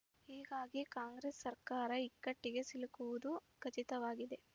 ಹೀಗಾಗಿ ಕಾಂಗ್ರೆಸ್ ಸರ್ಕಾರ ಇಕ್ಕಟ್ಟಿಗೆ ಸಿಲುಕುವುದು ಖಚಿತವಾಗಿದೆ